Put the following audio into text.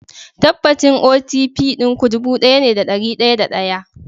Tabbacin OTP ɗin ku ɗubu ɗaya ne da ɗari da ɗaya